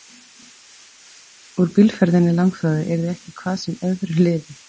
Úr bílferðinni langþráðu yrði ekki hvað sem öðru liði.